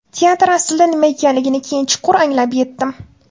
Teatr aslida nima ekanligini keyin chuqur anglab yetdim.